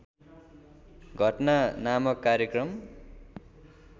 घटना नामक कार्यक्रम